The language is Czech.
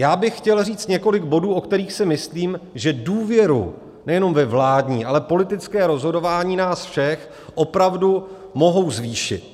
Já bych chtěl říct několik bodů, o kterých si myslím, že důvěru nejenom ve vládní, ale politické rozhodování nás všech opravdu mohou zvýšit.